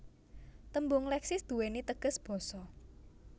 Tembung Leksis duwéni teges Basa